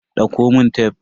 Dauko mun tef.